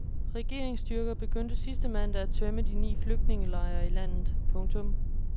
Regeringsstyrker begyndte sidste mandag at tømme de ni flygtningelejre i landet. punktum